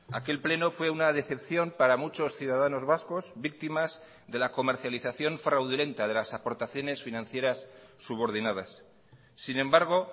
aquel pleno fue una decepción para muchos ciudadanos vascos víctimas de la comercialización fraudulenta de las aportaciones financieras subordinadas sin embargo